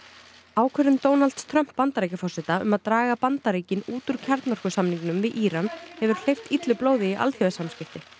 ákvörðun Donalds Trumps Bandaríkjaforseta um að draga Bandaríkin út úr kjarnorkusamningnum við Íran hefur hleypt illu blóði í alþjóðasamskipti